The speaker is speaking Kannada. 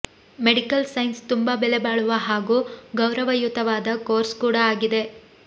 ಮೆಡಿಕಲ್ ಸೈನ್ಸ್ ತುಂಬಾ ಬೆಲೆಬಾಳುವ ಹಾಗೂ ಗೌರವಯುತವಾದ ಕೋರ್ಸ್ ಕೂಡಾ ಆಗಿದೆ